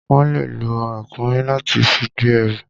Wọ́n le lo ràkúnmí láti fi gbé ẹrù.